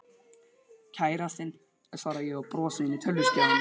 Kærastinn. svara ég og brosi inn í tölvuskjáinn.